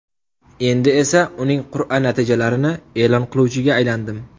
Endi esa uning qur’a natijalarini e’lon qiluvchiga aylandim.